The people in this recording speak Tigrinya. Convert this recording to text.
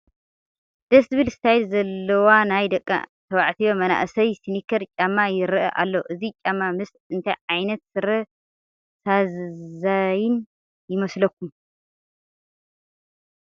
ደስ ዝብል ስታይል ዘለዎ ናይ ደቂ ተባዕትዮ መናእሰይ ስኒከር ጫማ ይርአ ኣሎ፡፡ እዚ ጫማ ምስ እንታይ ዓይነት ስረ ዘሳንይ ይመስለኩም?